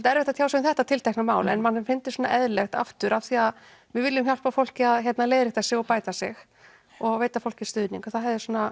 erfitt að tjá sig um þetta tiltekna mál en manni hefði fundist eðlilegt af því að við viljum hjálpa fólki að leiðrétta sig og bæta sig og veita fólki stuðning þá